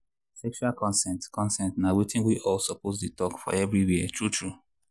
sexual consent consent na watin we all suppose dey talk for everywhere true true.